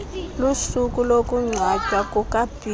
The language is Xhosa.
lusuku lokungcwatywa kukabhiza